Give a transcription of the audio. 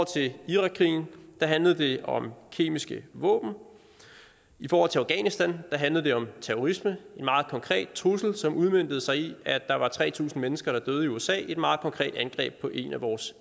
til irakkrigen handlede det om kemiske våben i forhold til afghanistan handlede det om terrorisme en meget konkret trussel som udmøntede sig i at der var tre tusind mennesker der døde i usa i et meget konkret angreb på en af vores